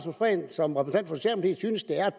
et